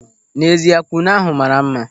N'ezie, kwụnụ ahụ maara mma.